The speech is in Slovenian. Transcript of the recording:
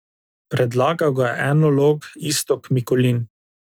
Predlagal ga je enolog Istok Mikulin.